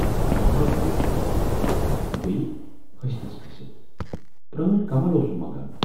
اکھ گَو بیچھُن بییہِ ۂسۍتِس کھٔسِتھ، پرٲنۍ کمل اوسُم منگان۔